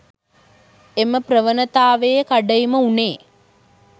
එම ප්‍රවණතාවයේ කඩයිම වුනේ